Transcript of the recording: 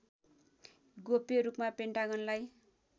गोप्य रूपमा पेन्टागनलाई